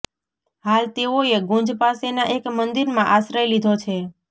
હાલ તેઓએ ગુંજ પાસેના એક મંદિરમાં આશ્રય લીધો છે